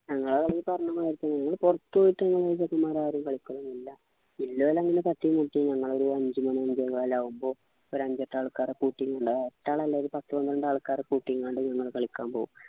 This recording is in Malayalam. ഞങ്ങളെ കളി ഈ പറഞ്ഞ മാതിരി പുറത്തുപോയിട്ട് നമ്മളെ team ആരും കളിക്കലൊന്നുമില്ല ഇലപോലെ അങ്ങനെ ഞങ്ങളൊരു അഞ്ചു മണി അഞ്ചേകാല് ആവുമ്പൊ ഒരു അഞ്ചേകാലോക്കെ കുട്ടീം കൊണ്ടാ ഒരു പത്തു പന്ത്രണ്ടൾക്കാര്‌ കൂട്ടിയെങാണ്ട് നമ്മള് കളിയ്ക്കാൻ പോവും